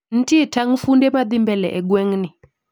Ntie tang funde madhii mbele e gweng'ni?